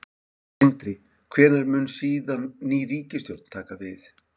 Sindri: Hvenær mun síðan ný ríkisstjórn taka við?